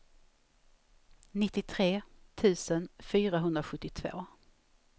nittiotre tusen fyrahundrasjuttiotvå